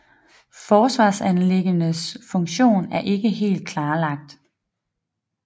Forsvarsanlæggenes funktion er ikke helt klarlagt